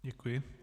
Děkuji.